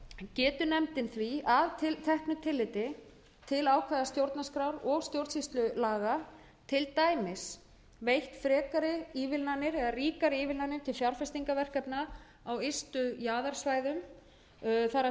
geti nefndin því að teknu tilliti til ákvæða stjórnarskrár og stjórnsýslulaga til dæmis veitt frekari ívilnanir eða ríkari ívilnanir til fjárfestingarverkefna á ystu jaðarsvæðunum það er hinum efnahagslega